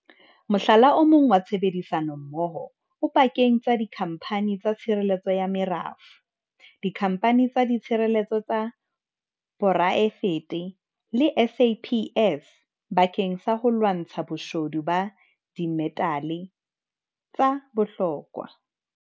Mohlala o mong wa tshebedisanommoho o pakeng tsa dikhamphani tsa tshireletso ya merafo, dikhamphani tsa tshireletso tsa poraefete le SAPS bakeng sa ho lwantsha boshodu ba dimetale tsa bohlokwa.